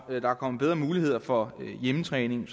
der er kommet bedre muligheder for hjemmetræning